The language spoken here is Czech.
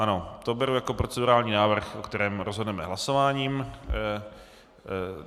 Ano, to beru jako procedurální návrh, o kterém rozhodneme hlasováním.